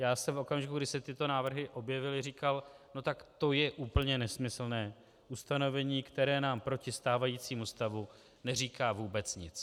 Já jsem v okamžiku, kdy se tyto návrhy objevily, říkal: no tak to je úplně nesmyslné ustanovení, které nám proti stávajícímu stavu neříká vůbec nic.